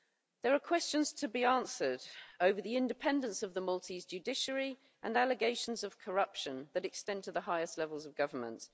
There are questions to be answered over the independence of the Maltese judiciary and allegations of corruption that extend to the highest levels of government.